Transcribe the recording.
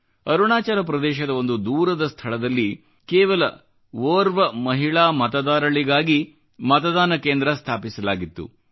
ಅರುಣಾಚಲ ಪ್ರದೇಶದ ಒಂದು ದೂರದ ಸ್ಥಳದಲ್ಲಿ ಕೇವಲ ಓರ್ವ ಮಹಿಳಾ ಮತದಾರಳಿಗಾಗಿ ಮತದಾನ ಕೇಂದ್ರ ಸ್ಥಾಪಿಸಲಾಗಿತ್ತು